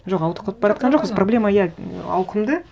жоқ ауытқып бара жатқан жоқпыз проблема иә ауқымды